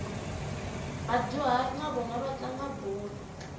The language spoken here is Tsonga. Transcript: vadyuhari na vona va tlanga bolo